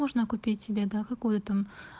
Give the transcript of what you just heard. можно купить себе да какой там